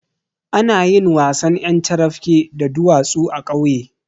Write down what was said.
Anayin wasan ƴar carafke da duwatsu a ƙauye